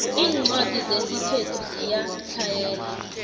incwadi zesikhethu ziyatlhayela